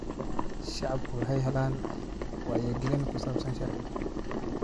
Shacabku waxay helayaan wacyigelin ku saabsan sharciga.